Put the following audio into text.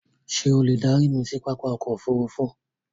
Ṣé o lè darí mi sí pápá ọkọ̀ òfurufú?